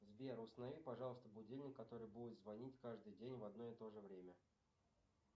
сбер установи пожалуйста будильник который будет звонить каждый день в одно и тоже время